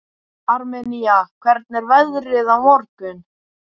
Armenía, hvernig er veðrið á morgun?